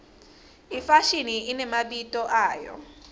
ifashini inemabito ayo